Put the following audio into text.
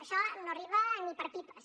això no arriba ni per a pipes